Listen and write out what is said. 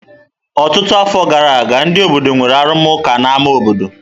Ọtụtụ afọ gara aga, ndị obodo nwere arụmụka n'ámá obodo.